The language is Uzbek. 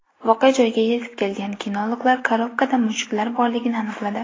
Voqea joyiga yetib kelgan kinologlar korobkada mushuklar borligini aniqladi.